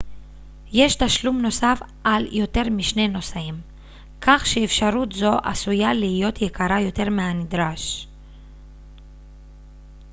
יש תשלום נוסף על יותר מ-2 נוסעים כך שאפשרות זו עשויה להיות יקרה יותר מהנדרש